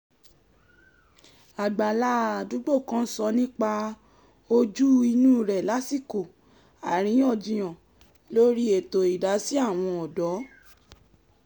àgbàlá àdúgbò kan sọ nípa ojú - inú rẹ̀ lásìkò àríyànjiyàn lórí ètò idasi àwọn ọ̀dọ́